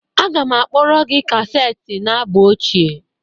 Aga m akpọre gị kaseti na abụ ochie